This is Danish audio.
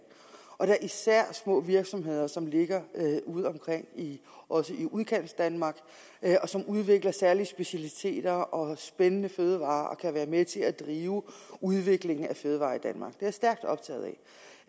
og da især små virksomheder som ligger ude omkring også i udkantsdanmark og som udvikler særlige specialiteter og spændende fødevarer og som kan være med til at drive udviklingen af fødevarer i danmark det er jeg stærkt optaget